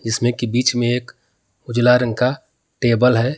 इसमें के बीच में एक उजला रंग का टेबल है।